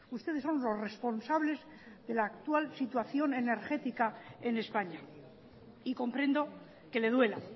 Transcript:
ustedes son los responsables de la actual situación energética en españa y comprendo que le duela